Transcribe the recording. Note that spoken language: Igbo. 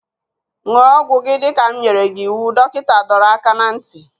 Ṅụọ ọgwụ gị dịka m nyere gị iwu! Dọkịta dọrọ aka ná ntị